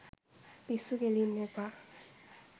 පිස්සු කෙලින්න එපා.